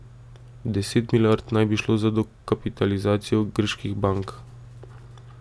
Deset milijard naj bi šlo za dokapitalizacijo grških bank.